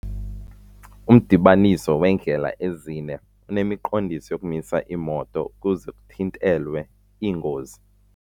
Umdibaniso weendlela ezine unemiqondiso yokumisa iimoto ukuze kuthintelwe iingozi.